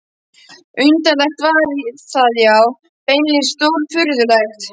Undarlegt var það, já beinlínis stórfurðulegt.